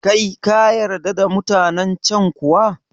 Kai kayarda da mutanen can kuwa?